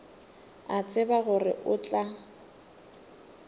a tseba gore o tla